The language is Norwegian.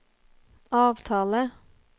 avtale